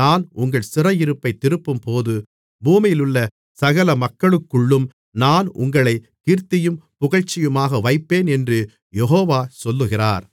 நான் உங்கள் சிறையிருப்பைத் திருப்பும்போது பூமியிலுள்ள சகல மக்களுக்குள்ளும் நான் உங்களைக் கீர்த்தியும் புகழ்ச்சியுமாக வைப்பேன் என்று யெகோவா சொல்லுகிறார்